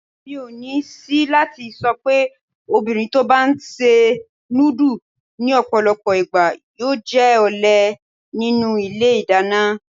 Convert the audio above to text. Mi ò ní ṣìí láti sọ'pé obìnrin tó' bá ńṣe núdù ní ọ̀pọ̀lọpọ̀ ìgbà yóò jẹ́ ọ̀lé nínú ilé ìdáná.